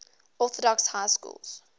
orthodox high schools